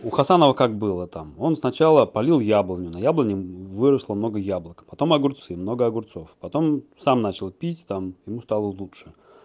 у хасанова как была там он сначала полил яблоню на яблоне выросло много яблок потом огурцы много огурцов потом сам начал пить там ему стало лучше